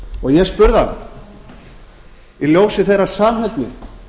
og ég spurði hann í ljósi þeirrar samheldni